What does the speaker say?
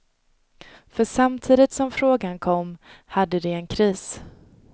För samtidigt som frågan kom, hade de en kris.